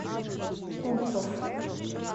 куцов